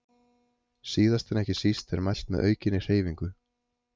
Síðast en ekki síst er mælt með aukinni hreyfingu.